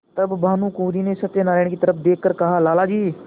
तब भानुकुँवरि ने सत्यनारायण की तरफ देख कर कहालाला जी